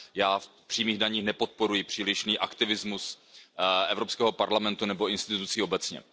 Já v přímých daních nepodporuji přílišný aktivismus Evropského parlamentu nebo institucí obecně.